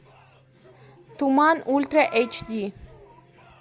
туман ультра эйч ди